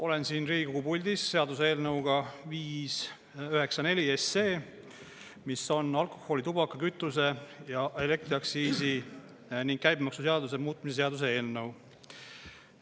Olen siin Riigikogu puldis seaduseelnõuga 594, mis on alkoholi-, tubaka-, kütuse- ja elektriaktsiisi ning käibemaksuseaduse muutmise seaduse eelnõu.